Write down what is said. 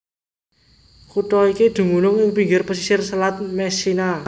Kutha iki dumunung ing pinggir pasisir Selat Messina